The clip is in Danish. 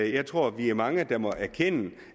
jeg tror vi er mange der må erkende